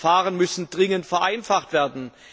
Die Verfahren müssen dringend vereinfacht werden.